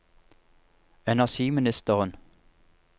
energiministeren